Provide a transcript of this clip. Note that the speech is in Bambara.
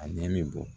A ɲɛ min bɔ